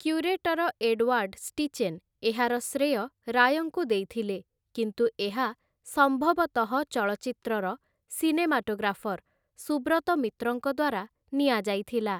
Curator Edward Steichen ଏହାର ଶ୍ରେୟ ରାୟଙ୍କୁ ଦେଇଥିଲେ, କିନ୍ତୁ ଏହା ସମ୍ଭବତଃ ଚଳଚ୍ଚିତ୍ରର ସିନେମାଟୋଗ୍ରାଫର୍ ସୁବ୍ରତ ମିତ୍ରଙ୍କ ଦ୍ୱାରା ନିଆଯାଇଥିଲା ।